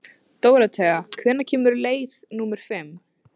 Dóróthea, hvenær kemur leið númer fimm?